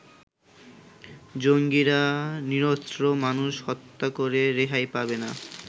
জঙ্গিরা নিরস্ত্র মানুষ হত্যা করে রেহাই পাবে না।